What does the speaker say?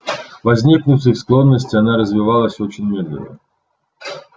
возникнув из склонности она развивалась очень медленно